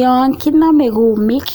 Yon kinamei kumiik,